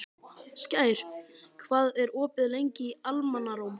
Skær, hvað er opið lengi í Almannaróm?